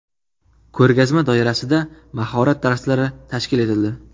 Ko‘rgazma doirasida mahorat darslari tashkil etildi.